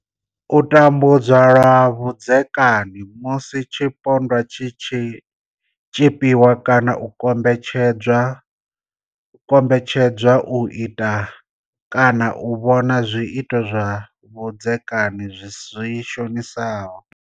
U tambudzwa lwa vhudzekani, Musi tshipondwa tshi tshi tshipiwa kana u kombetshed zwa u ita kana u vhona zwiito zwa vhudzekani zwi shonisaho.